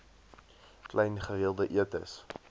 klein gereelde etes